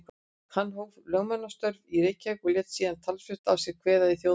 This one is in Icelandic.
Hann hóf þá lögmannsstörf í Reykjavík og lét síðan talsvert að sér kveða í þjóðmálum.